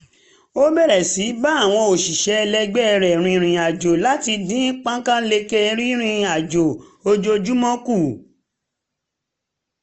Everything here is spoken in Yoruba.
ó bẹ̀rẹ̀ sí í bá àwọn òṣìṣẹ́ ẹlẹgbẹ́ rìnrìn àjò láti dín pákáǹleke ìrìnrìn àjò ojoojúmọ́ kù